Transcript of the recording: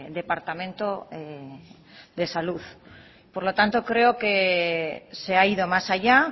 departamento de salud por lo tanto creo que se ha ido más allá